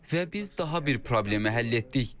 Və biz daha bir problemi həll etdik.